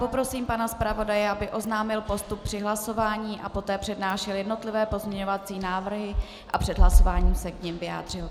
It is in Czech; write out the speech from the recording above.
Poprosím pana zpravodaje, aby oznámil postup při hlasování a poté přednášel jednotlivé pozměňovací návrhy a před hlasováním se k nim vyjádřil.